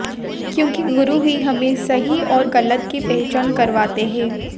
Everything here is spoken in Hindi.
क्योंकि गुरु ही हमें सही और गलत की पहचान करवाते हैं